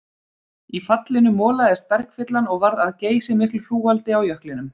Í fallinu molaðist bergfyllan og varð að geysimiklu hrúgaldi á jöklinum.